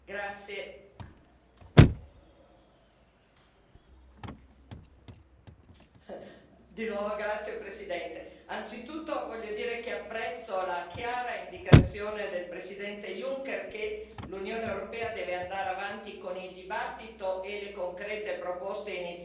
Signor Presidente, onorevoli colleghi, anzitutto voglio dire che apprezzo la chiara indicazione del presidente Juncker che l'Unione europea deve andare avanti con il dibattito e le concrete proposte e iniziative per il futuro dell'Unione europea. E voglio dire ai colleghi inglesi